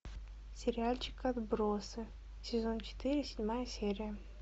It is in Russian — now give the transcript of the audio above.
сериальчик отбросы сезон четыре седьмая серия